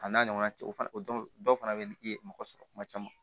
A n'a ɲɔgɔnna cɛ o fana o don dɔw fana bɛ yen i ye mɔgɔ sɔrɔ kuma caman